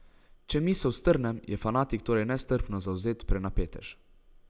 Če misel strnem, je fanatik torej nestrpno zavzet prenapetež.